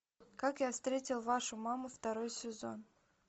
как я встретил вашу маму второй сезон